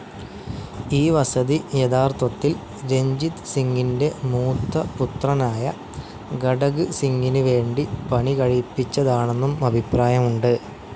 ഈ വസതി യഥാർത്ഥത്തിൽ രഞ്ജിത് സിംഗിൻ്റെ മൂത്തപുത്രനായ ഘടക് സിംഗിന് വേണ്ടി പണികഴിപ്പിച്ചതാണെന്നും അഭിപ്രായമുണ്ട്.